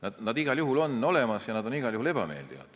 Nad on igal juhul olemas ja nad on igal juhul ebameeldivad.